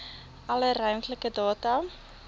alle ruimtelike data